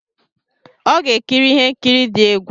Ọ ga-ekiri ihe nkiri dị egwu.